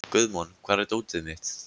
Guðmon, hvar er dótið mitt?